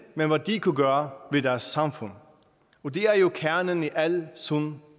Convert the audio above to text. men hvad de kunne gøre ved deres samfund og det er jo kernen i al sund